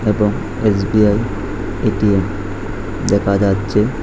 এবং SBI ATM দেখা যাচ্ছে।